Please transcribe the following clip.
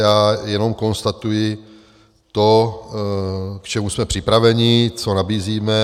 Já jenom konstatuji to, k čemu jsme připraveni, co nabízíme.